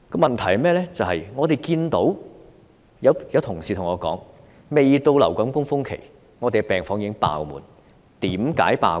問題是，有同事對我說，未到流感高峰期，病房已爆滿，為甚麼？